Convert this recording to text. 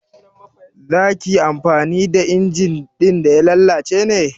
Za ka yi amfani da injin ɗin da ya lalace ne?